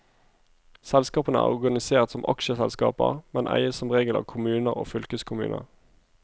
Selskapene er organisert som aksjeselskaper, men eies som regel av kommuner og fylkeskommuner.